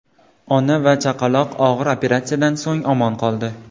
Ona va chaqaloq og‘ir operatsiyadan so‘ng omon qoldi.